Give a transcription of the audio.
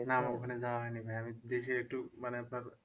না আমার ওখানে যাওয়া হয়নি ভাইয়া আমি দেশে একটু মানে আপনার